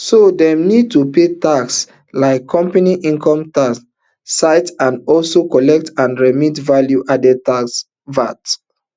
so dem need to pay taxes like company income tax cit and also collect and remit value added tax vat